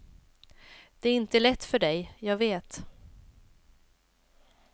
Det är inte lätt för dig, jag vet.